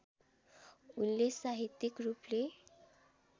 उनले साहित्यिक रूपले